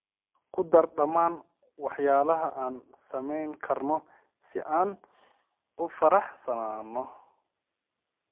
ku dar dhammaan waxyaalaha aan samayn karo si aan u faraxsanaado